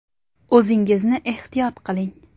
O‘zingizni ehtiyot qiling!